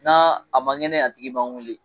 N'a a ma ŋɛnɛ a tigi b'an weele.